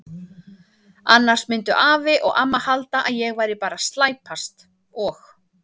Annars myndu afi og amma halda að ég væri bara að slæpast og.